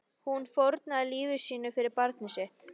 Hún fórnaði lífi sínu fyrir barnið sitt.